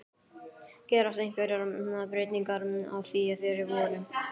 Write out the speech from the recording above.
Gerast einhverjar breytingar á því fyrir vorið?